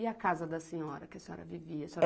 E a casa da senhora, que a senhora vivia?